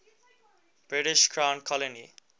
british crown colony